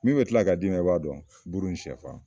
Min be kila ka d'ima i b'a dɔn buru ni sɛfan